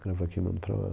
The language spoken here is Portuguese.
Gravo aqui e mando para lá.